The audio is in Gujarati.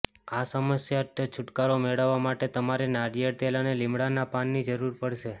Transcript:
આ સમસ્યાટથી છુટકારો મેળવવા માટે તમારે નારિયેળ તેલ અને લીમડાના પાનની જરૂર પડશે